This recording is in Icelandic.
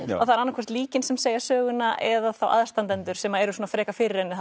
það er annað hvort líkin sem segja söguna eða þá aðstandendur sem eru svona frekar fyrir henni